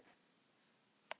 Minning þin lifir, Bára Björk.